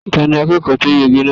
Ta ní akẹ́kọ̀ọ́ tó yege náà?